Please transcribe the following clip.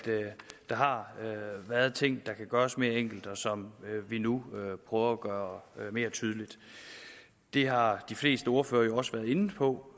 der har været ting der kan gøres mere enkle og som vi nu prøver at gøre mere tydelige det har de fleste ordførere jo også været inde på